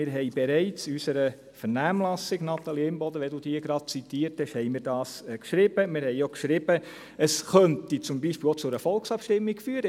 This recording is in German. Wir haben dies bereits in unserer Vernehmlassung – Natalie Imboden, da Sie diese gerade zitiert haben – geschrieben, und wir haben auch geschrieben, es könnte zum Beispiel auch zu einer Volksabstimmung führen.